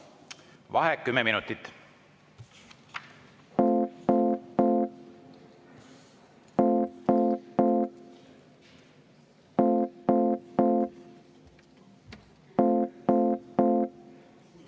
Vaheaeg 10 minutit.